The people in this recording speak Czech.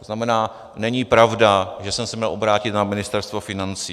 To znamená, není pravda, že jsem se měl obrátit na Ministerstvo financí.